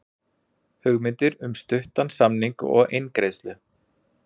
Hugmyndir um stuttan samning og eingreiðslu